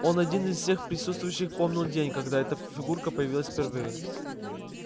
он один из всех присутствующих помнил день когда эта фигура появилась впервые